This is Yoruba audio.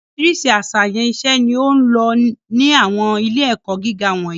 Oríṣiríṣi àṣàyàn iṣẹ́ ni ó ń lọ ní àwọn ilé-ẹ̀kọ́ gíga wọ̀nyí.